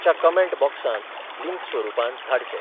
च्या कमेंट बॉक्सांत लिंक स्वरुपांत धाडचे.